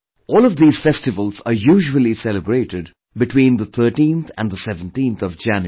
All of these festivals are usually celebrated between 13th and 17thJanuary